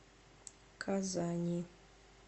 казани